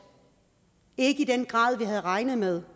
ikke i den grad vi havde regnet med